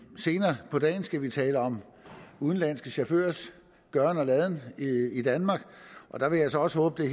senere på dagen skal vi tale om udenlandske chaufførers gøren og laden i danmark og der vil jeg så også håbe at